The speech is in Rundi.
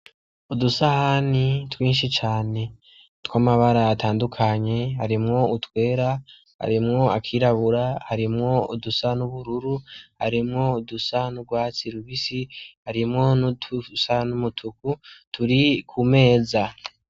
Udusahani twinshi cane tw'amabara atandukanye arimwo utwera arimwo akirabura harimwo udusa n'ubururu harimwo udusa n'urwatsi rubisi harimwo n'udusa n'umutuku turi ku meza.